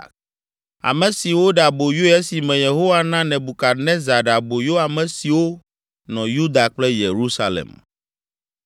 ame si woɖe aboyoe esime Yehowa na Nebukadnezar ɖe aboyo ame siwo nɔ Yuda kple Yerusalem.